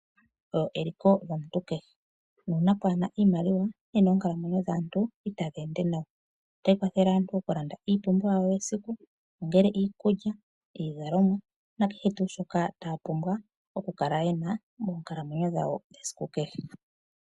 Iimaliwa oyo eliko lyomuntu kehe nuuna pwaa na iimaliwa nena oonkalamwenyo dhaantu ita dhi ende nawa otayi kwathele aantu okulanda iipumbiwa yesiku ongele iikulya, iizalomwa nakehe tuu shoka taya vulu okukala ye na moonkalamwenyo dhawo dhesiku kehe.